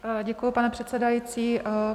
Děkuji, pane předsedající.